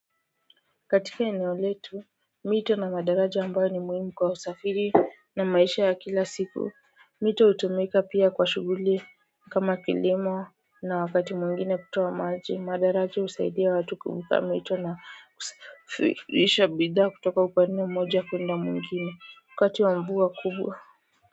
Katika eneo letu mito na madaraje ambayo ni muhimu kwa usafiri na maisha ya kila siku mito hutumika pia kwa shughuli kama kilimo na wakati mwingine kutoa maji madaraja husaidia watu kuvuka mito na kusafirisha bidhaa kutoka upande moja kuenda mwingine wakati wa mvua kubwa kwa hivyo.